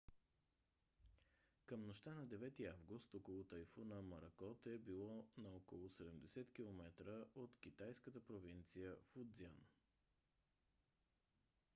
към нощта на 9-и август окото на тайфуна моракот е било на около 70 километра от китайската провинция фуцзян